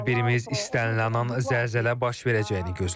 Hər birimiz istənilən an zəlzələ baş verəcəyini gözləyirik.